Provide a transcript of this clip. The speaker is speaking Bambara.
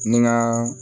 Ni ŋaa